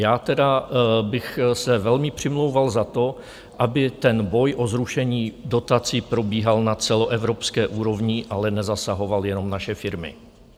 Já tedy bych se velmi přimlouval za to, aby ten boj o zrušení dotací probíhal na celoevropské úrovni, ale nezasahoval jenom naše firmy.